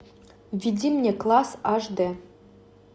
введи мне класс аш дэ